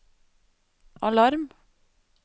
alarm